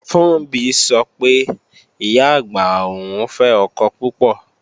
Funbí sọ pé, Ìyá-àgbà òun fẹ́ ọkọ púpọ̀